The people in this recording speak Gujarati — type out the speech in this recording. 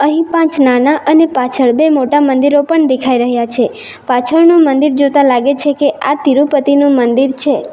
અહીં પાંચ નાના અને પાછળ બે મોટા મંદિરો પણ દેખાય રહ્યા છે પાછળનું મંદિર જોતા લાગે છે કે આ તિરુપતિનું મંદિર છે.